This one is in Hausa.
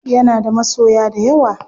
Yana da masoya dayawa.